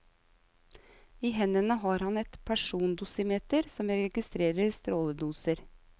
I hendene har han et persondosimeter som registrerer stråledoser.